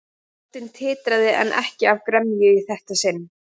Röddin titraði en ekki af gremju í þetta sinn.